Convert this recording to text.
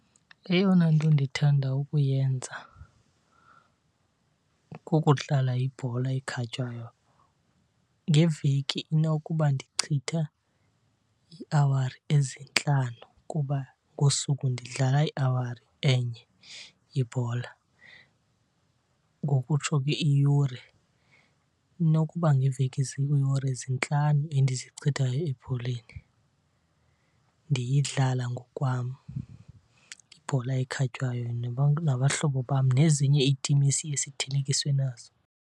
Eyona nto ndithanda ukuyenza kukudlala ibhola ekhatywayo. Ngeveki inokuba ndichitha iiawari ezintlanu kuba ngosuku ndidlala iawari enye ibhola, ngokutsho ke iyure. Inokuba ngeveki ziiyure zintlanu endizichithayo ebholeni, ndiyidlala ngokwam ibhola ekhatywayo nabahlobo bam nezinye iitim esiye sithelekiswe nazo.